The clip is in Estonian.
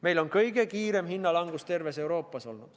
Meil on olnud kõige kiirem hinnalangus terves Euroopas.